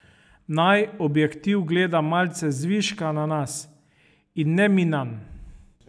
Naj objektiv gleda malce zviška na nas, in ne mi nanj.